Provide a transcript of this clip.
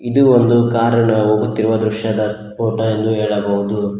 ಇದು ಒಂದು ಕಾರಿನ ಹೋಗುತ್ತಿರುವ ದೃಶ್ಯದ ಫೋಟೋ ಎಂದು ಹೇಳಬೌದು.